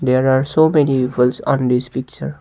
there are so many people on this picture.